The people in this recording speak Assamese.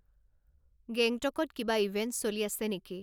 গেংটকত কিবা ইভেন্ট চলি আছে নেকি